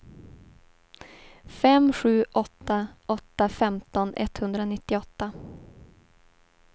fem sju åtta åtta femton etthundranittioåtta